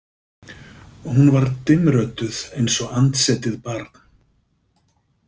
Hún var dimmrödduð eins og andsetið barn.